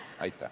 Aitäh!